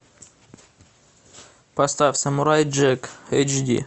поставь самурай джек эйч ди